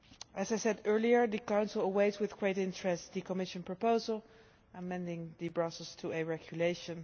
As I said earlier, the Council awaits with great interest the Commission proposal amending the Brussels IIa Regulation.